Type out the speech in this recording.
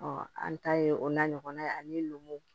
an ta ye o na ɲɔgɔnna ye ani numuw